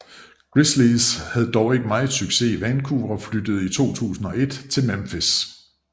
Grizzlies havde dog ikke meget succes i Vancouver og flyttede i 2001 til Memphis